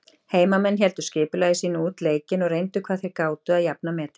Heimamenn héldu skipulagi sínu út leikinn og reyndu hvað þeir gátu að jafna metin.